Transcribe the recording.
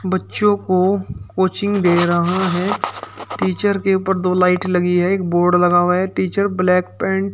बच्चों को कोचिंग दे रहा है टीचर के ऊपर दो लाइट लगी है एक बोर्ड लगा हुआ है टीचर ब्लैक पैंट --